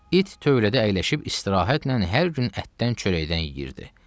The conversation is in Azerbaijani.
İt tövlədə əyləşib istirahətlə hər gün ətdən, çörəkdən yeyirdi.